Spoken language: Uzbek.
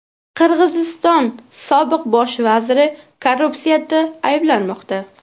Qirg‘iziston sobiq bosh vaziri korrupsiyada ayblanmoqda.